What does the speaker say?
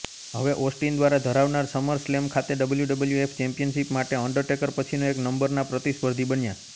હવે ઓસ્ટિન દ્વારા ધરાવનાર સમરસ્લેમ ખાતે ડબલ્યુડબલ્યુએફ ચેમ્પિયનશિપ માટે અંડરટેકર પછીનો એક નંબરના પ્રતિસ્પર્ધી બન્યા